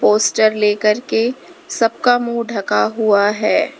Poster लेकर के सब का मुंह ढका हुआ है।